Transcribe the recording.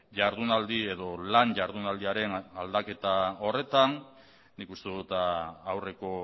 jardunaldi edo lan jardunaldiaren aldaketa horretan nik uste dut aurreko